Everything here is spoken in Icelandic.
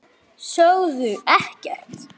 Sögðu ekkert.